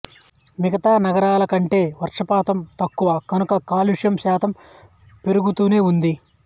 మిగతా నగరాలకంటే వర్షపాతం తక్కువ కనుక కాలుష్యం శాతం పెరుగుతూనే ఉంది